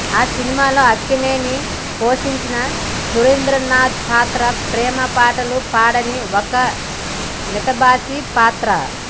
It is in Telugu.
ఆ సినిమాలో అక్కినేని పోషించిన సురేంద్రనాథ్ పాత్ర ప్రేమపాటలు పాడని ఒక మితభాషి పాత్ర